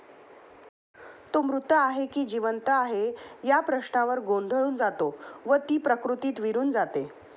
तो मृत आहे की जीवंत आहे या प्रश्नावर गोंधळून जातो व ती प्रतिकृती विरुन जाते.